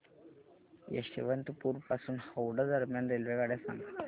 यशवंतपुर पासून हावडा दरम्यान रेल्वेगाड्या सांगा